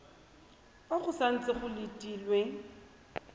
fa go santse go letilwe